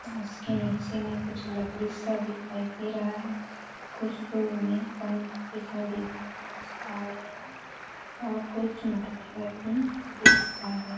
उसके नीचे में कुछ लकड़ी सा दिखाई दे रहा है कुछ दूर में वन भी दिखाई देते हैं और कुछ मठमेला भी दिख रहा है।